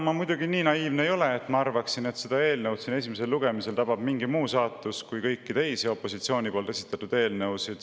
Ma muidugi nii naiivne ei ole, et arvaksin, et seda eelnõu tabab siin esimesel lugemisel teistsugune saatus kui kõiki teisi opositsiooni esitatud eelnõusid.